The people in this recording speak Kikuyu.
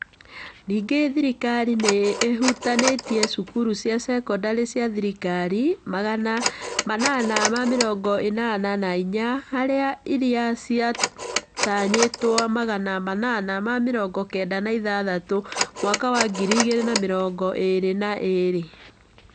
Ningĩ thirikari nĩ ĩhutanĩtie cukuru cia sekondarĩ cia thirikari magana manana na mĩrongo ĩnana na inya harĩ iria ciatanyĩtwo magana manana na mĩrongo kenda na ithathatũ mwaka wa ngiri igĩrĩ na mĩrongo ĩĩrĩ na igĩrĩ.